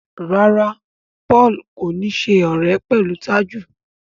ràrá Paul kò ní ṣe ọrẹ pẹlú Taju.